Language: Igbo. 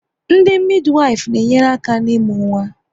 Ndị midiwifu na enyere aka n'imu nwa